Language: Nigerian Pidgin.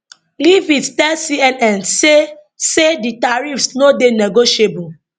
leavitt tell cnn say say di tariffs no dey negotiable